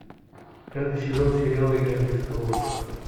пятый сезон сериала игра престолов